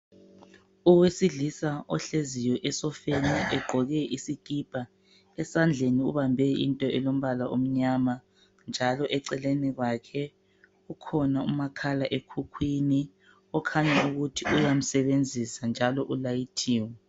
Owesilisa ohleziyo esofeni egqoke isikipa esandleni ubambe into elombala omnyama njalo eceleni kwakhe kukhona umakhala ekhukhwini okhanya ukuthi uyamsebenzisa njalo ulayithiwe.